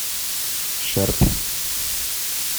шерп